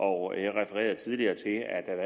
og jeg refererede tidligere til at der